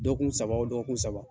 Dɔgɔkun saba o dɔgɔkun saba